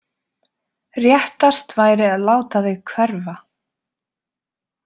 Réttast væri að láta þig hverfa.